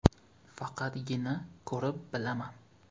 Faqatgina ko‘rib bilaman.